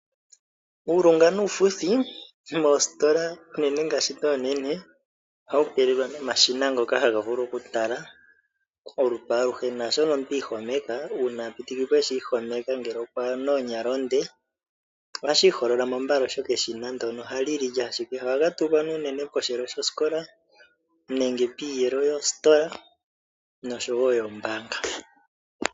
Uulunga nuufuthi moositola unene ndhoka oonene ohawu keelelwa nomashina ngoka haga vulu okutala olutu aluhe, oha ulikwa sho eshi ihomeka ngele oku na oonyala oonde ohashi iholola mo mbala, molwashoka eshina ndyoka ohali lili ashike. Ohaga tulwa unene posheelo shosikola nenge piiyelo yoositola noshowo yoombaanga.